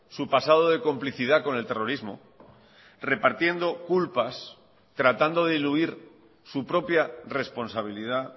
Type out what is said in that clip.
su pasado de complicidad con el terrorismo repartiendo culpas tratando de diluir su propia responsabilidad